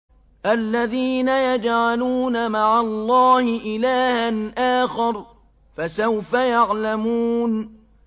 الَّذِينَ يَجْعَلُونَ مَعَ اللَّهِ إِلَٰهًا آخَرَ ۚ فَسَوْفَ يَعْلَمُونَ